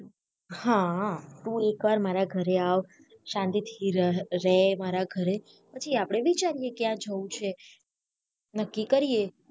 હા તુ એકવાર મારા ઘરે આવ શાંતિ રહ રહે મારા ઘરે પછી આપને વિચારી એ ક્યા જવુ છે નક્કિ કરીએ